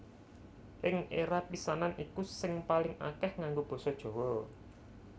Ing éra pisanan iku sing paling akèh nganggo basa Jawa